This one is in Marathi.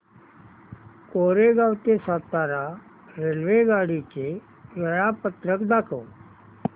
कोरेगाव ते सातारा रेल्वेगाडी चे वेळापत्रक दाखव